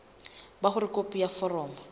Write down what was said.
ba hore khopi ya foromo